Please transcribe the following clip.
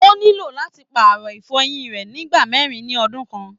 O nílò láti paarọ ifọ́yín rẹ ni ìgbà mẹrin ni ọdun kan.